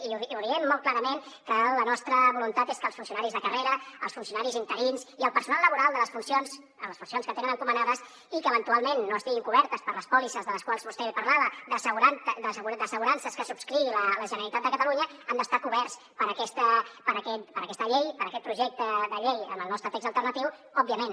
i diem molt clarament que la nostra voluntat és que els funcionaris de carrera els funcionaris interins i el personal laboral en les funcions que tenen encomanades i que eventualment no estiguin cobertes per les pòlisses de les quals vostè parlava d’assegurances que subscrigui la generalitat de catalunya han d’estar coberts per aquesta llei per aquest projecte de llei amb el nostre text alternatiu òbviament